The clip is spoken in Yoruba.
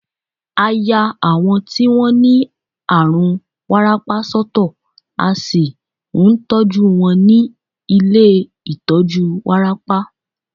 À yá àwọn tí wọ́n ní àrùn wárápá sọ́tọ̀, à sì ń tọ́jú wọn ní ilé ìtọjú wárápá.